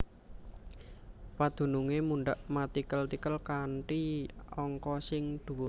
Padunungé mundhak matikel tikel kanthi angka sing dhuwur